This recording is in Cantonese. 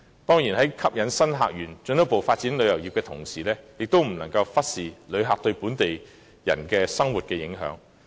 當然，在吸引新客源，進一步發展旅遊業之餘，也不能忽視旅客對本地市民生活的影響。